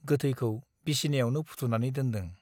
गोथैखौ बिसनायावनो फुथुनानै दोनदों ।